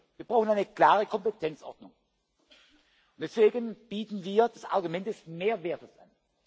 Wir brauchen eine klare Kompetenzordnung. Deswegen bieten wir das Argument des Mehrwerts an.